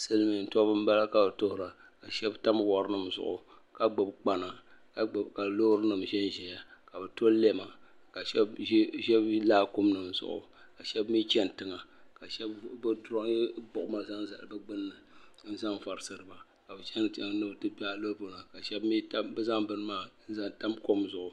silmiin tɔbu n bala ka bi tuhura ka shab tam wɔri nim zuɣu ka gbubi gbana ka loori nim ʒɛnʒɛya ka bi tɔ lɛma ka shab ʒi laakum nim zuɣu ka shab mii chɛni tiŋa ka bi durooyi gbuɣuma zaŋ zali bi gbunni n zaŋ varisiri ba ka bi